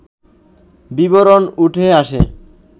বিবরণ উঠে আসে